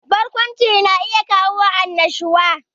Barkwanci na iya kawo annashuwa